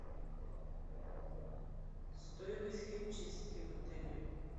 стоимость химчистки в отеле